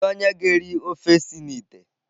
Kedu onye ga-eri ofe si na ite?